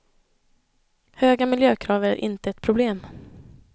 Höga miljökrav är inte ett problem.